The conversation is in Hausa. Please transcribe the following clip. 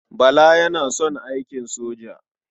Bala yana son aikin soja.